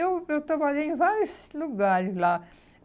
eu eu trabalhei em vários lugares lá.